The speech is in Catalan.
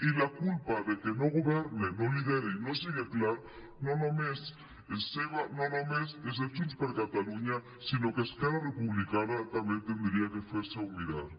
i la culpa de que no governe no lidere i no siga clar no només és seva no només és de junts per catalunya sinó que es·querra republicana també hauria de fer·s’ho mirar